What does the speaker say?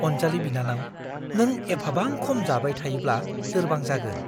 अनजालि बिनानाव, नों एफाबां खम जाबाय थायोब्ला लोरबां जागोन।